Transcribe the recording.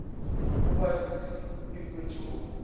o badile o ikwetše go